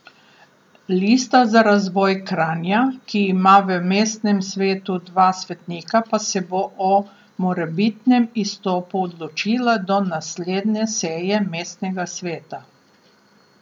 Lista za razvoj Kranja, ki ima v mestnem svetu dva svetnika, pa se bo o morebitnem izstopu odločila do naslednje seje mestnega sveta.